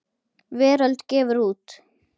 Veröld gefur út.